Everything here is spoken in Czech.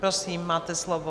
Prosím, máte slovo.